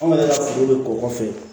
Anw yɛrɛ ka foro bɛ kɔkɔ kɔfɛ